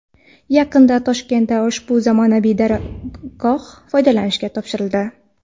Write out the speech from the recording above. Yaqinda Toshkentda ushbu zamonaviy dargoh foydalanishga topshirildi.